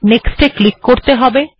next এ click করত়ে হবে